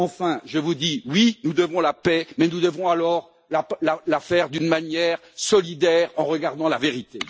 Enfin, je vous dis oui, nous devons faire la paix, mais nous devons la faire d'une manière solidaire, en regardant la vérité.